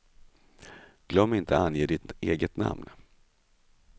Glöm inte ange ditt eget namn.